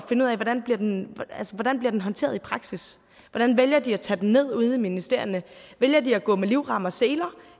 finde ud af hvordan bliver den håndteret i praksis hvordan vælger de at tage den ned ude i ministerierne vælger de at gå med livrem og seler